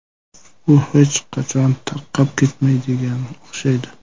U hech qachon tarqab ketmaydiganga o‘xshaydi.